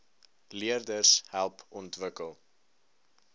leerders help ontwikkel